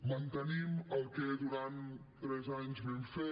mantenim el que durant tres anys vam fer